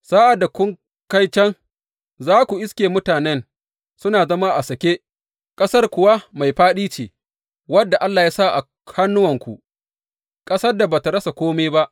Sa’ad da kun kai can, za ku iske mutanen suna zama a sake, ƙasar kuwa mai faɗi ce wadda Allah ya sa a hannuwanku, ƙasar da ba tă rasa kome ba.